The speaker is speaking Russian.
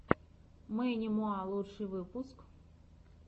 мэнни муа лучший выпуск